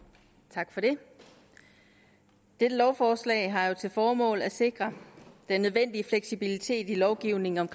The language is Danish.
tak for det dette lovforslag har jo til formål at sikre den nødvendige fleksibilitet i lovgivningen om